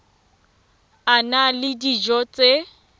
a na le dijo tse